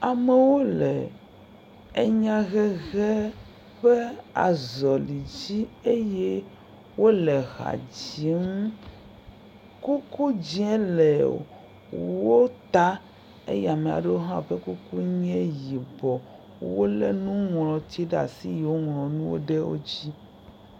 Amewo le enya hehe ƒe azɔli dzi eye wole eha dzim. Kuku dze le wo ta eye ame aɖewo hã be kuku nye yibɔ. Wolé nuŋlɔti ɖe asi eye woŋlɔ nuwo ɖe wo dzi.